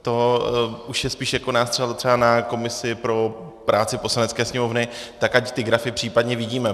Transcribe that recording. To už je spíše jako nástřel třeba na komisi pro práci Poslanecké sněmovny, tak ať ty grafy případně vidíme.